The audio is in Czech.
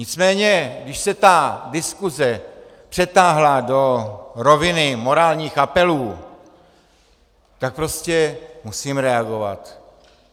Nicméně když se ta diskuse přetáhla do roviny morálních apelů, tak prostě musím reagovat.